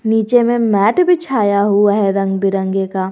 नीचे में मैट बिछाया हुआ है रंग बिरंगे का--